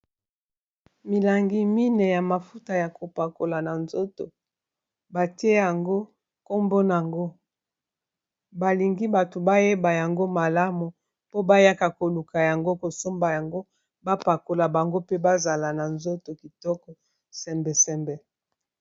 Milangi mine ya mafuta ya kopakola na nzoto. Batie kombo na ngo, balingi bato bayeba yango malamu, po bayaka koluka yango, kosomba yango bapakola bango pe bazala na nzoto kitoko, sembe sembe.